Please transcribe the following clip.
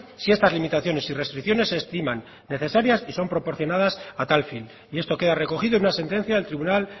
si estas limitaciones y restricciones se estiman necesarias y son proporcionadas a tal fin y esto queda recogido en una sentencia del tribunal